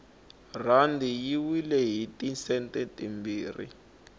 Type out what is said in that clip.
rhandi yi wile hiti sente timbirhi